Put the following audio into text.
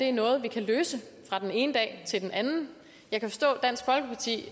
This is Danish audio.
er noget vi kan løse fra den ene dag til den anden jeg kan forstå